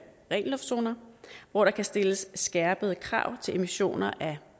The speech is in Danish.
ren luft zoner hvor der kan stilles skærpede krav til emissioner af